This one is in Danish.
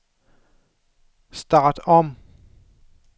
start om